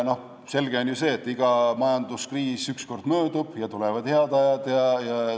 Selge on ju see, et iga majanduskriis ükskord möödub ja tulevad head ajad.